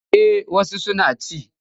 Eh wasu suna ci.